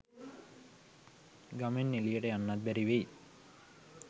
ගමෙන් එලියට යන්නත් බැරි වෙයි.